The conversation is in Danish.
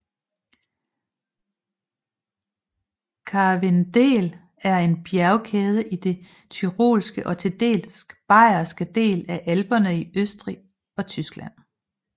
Karwendel er en bjergkæde i de tyrolske og til dels bayerske del af Alperne i Østrig og Tyskland